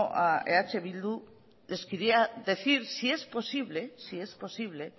a eh bildu les quería decir si es posible